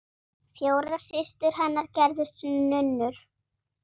Fjórar systur hennar gerðust nunnur.